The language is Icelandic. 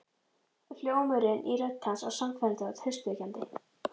Hljómurinn í rödd hans var sannfærandi og traustvekjandi.